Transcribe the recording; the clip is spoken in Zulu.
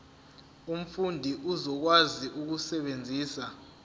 umfundi uzokwazi ukusebenzisa